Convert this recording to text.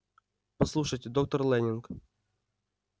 послушайте доктор лэннинг